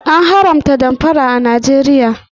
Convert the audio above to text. An haramta damfara a Najeriya